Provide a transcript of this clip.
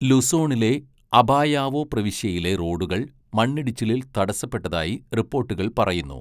ലുസോണിലെ അപായാവോ പ്രവിശ്യയിലെ റോഡുകൾ മണ്ണിടിച്ചിലിൽ തടസ്സപ്പെട്ടതായി റിപ്പോട്ടുകൾ പറയുന്നു.